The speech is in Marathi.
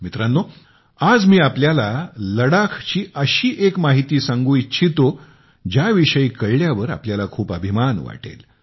मित्रांनो आज मी आपल्याला लडाखची अशी एक माहिती सांगू इच्छितो ज्याविषयी कळल्यावर आपल्याला खूप अभिमान वाटेल